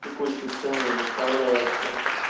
текущие цены и выставляются